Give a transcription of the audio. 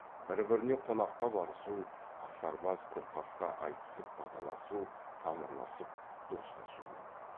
бір біріне қонаққа барысу ақсарбас көкқасқа айтысып баталасу тамырласып достасу көп